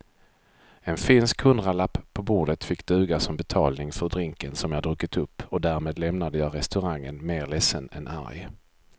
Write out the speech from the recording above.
En finsk hundralapp på bordet fick duga som betalning för drinken som jag druckit upp och därmed lämnade jag restaurangen mer ledsen än arg.